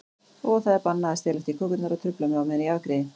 Og það er bannað að stelast í kökurnar og trufla mig á meðan ég afgreiði.